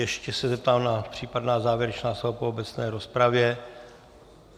Ještě se zeptám na případná závěrečná slova po obecné rozpravě.